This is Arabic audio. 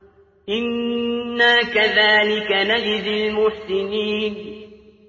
إِنَّا كَذَٰلِكَ نَجْزِي الْمُحْسِنِينَ